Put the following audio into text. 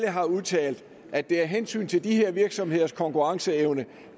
har udtalt at af hensyn til de her virksomheders konkurrenceevne